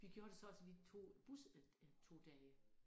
Vi gjorde det så også vi tog bus en en 2 dage